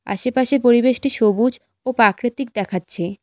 আশেপাশে পরিবেশটি সবুজ ও প্রাকৃতিক দেখাচ্ছে।